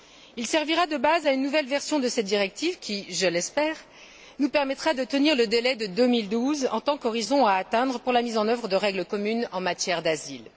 Il servira de base à une nouvelle version de cette directive qui, je l'espère, nous permettra de tenir le délai de 2012 en tant qu'horizon à atteindre pour la mise en œuvre de règles communes en matière d'asile.